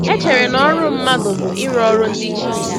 E chere na ọrụ mmadụ bụ ịrụ ọrụ ndị chi.